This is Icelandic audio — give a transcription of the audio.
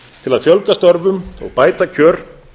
til að fjölga störfum og bæta kjör